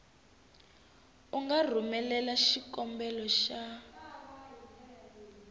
u nga rhumelela xikombelo xa